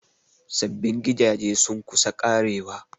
Sabbin gidaje sun kusa ƙarewa.